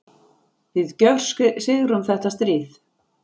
Við gjörsigrum þetta stríð!